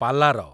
ପାଲାର